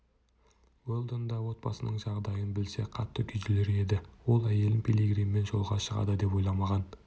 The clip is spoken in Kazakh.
уэлдон да отбасының жағдайын білсе қатты күйзелер еді ол әйелін пилигриммен жолға шығады деп ойламаған